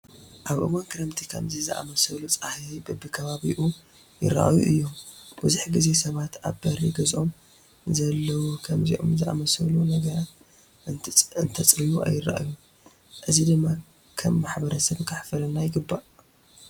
ኣብ እዋን ክረምቲ ከምዚ ዝኣምሰሉ ፃሕያይ በብከባቢኡ ይርአዩ እዮም፡፡ ብዙሕ ግዜ ሰባት ኣብ በሪ ገዝኦም ንዘለዉ ከምዚኦም ዝኣምሰኑ ነገራት እንተፅርዩ ኣይረአዩን፡፡ እዚ ድማ ከም ማሕበረሰብ ከሕፍረና ይግባእ፡፡